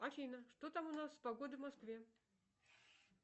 афина что там у нас с погодой в москве